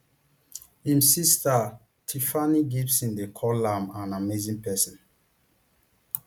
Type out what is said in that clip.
im sister tiffany gibson dey call am an amazing person